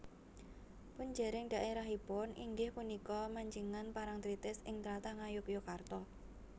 Punjering daérahipun inggih punika Mancingan Parangtritis ing tlatah Ngayogyakarta